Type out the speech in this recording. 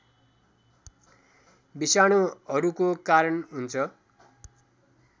विषाणुहरूको कारण हुन्छ